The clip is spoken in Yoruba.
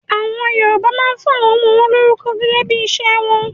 AÀwọn Yorùbá máa ń fún àwọn ọmọ wọn lórúkọ gẹ́gẹ́ bí iṣẹ́ wọn